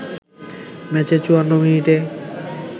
ম্যাচের ৫৪ মিনিটে